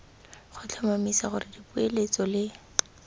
go tlhomamisa gore dipoeletso le